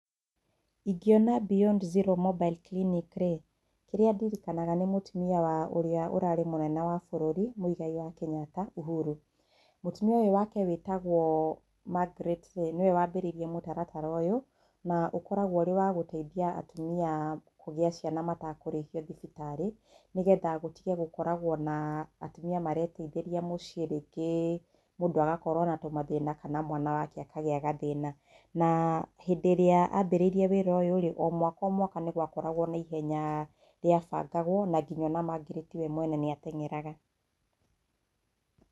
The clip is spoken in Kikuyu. Ingiona beyond zero mobile clinic-rĩ, kĩrĩa ndirikanaga nĩ mũtumia wa ũrĩa ũrarĩ mũnene wa bũrũri, Mũigai wa Kenyatta, Ũhũru. Mũtumia ũyũ wake wĩtagwo Margaret-rĩ, nĩwe wambĩrĩirĩe mũtaratara ũyũ. Na ũkoragwo ũrĩ wa gũteithia atumia kũgia ciana matakũrĩhio thibitarĩ nĩ getha gũtige gũkoragwo na atumia mareteithĩria mũciĩ rĩngĩ mũndũ akagĩa na tũmathĩna kana mwana wake akagĩa gathĩna, na hĩndĩ ĩrĩa ambĩrĩirie wĩra ũyũ-rĩ, o mwaka o mwaka nĩ gwakoragwo na ihenya rĩa bangagwo na ngĩnya Margaret we mwene nĩ ateng'eraga.